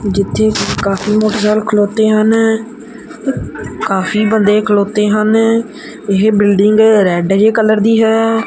ਜਿੱਥੇ ਕਾਫੀ ਮੋਟਰਸਾਈਕਲ ਖਲੋਤੇ ਹਨ ਕਾਫੀ ਬੰਦੇ ਖਲੋਤੇ ਹਨ ਇਹ ਬਿਲਡਿੰਗ ਰੈਡ ਜਿਹਾ ਕਲਰ ਦੀ ਹੈ।